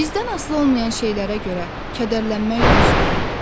Bizdən asılı olmayan şeylərə görə kədərlənmək düzdür?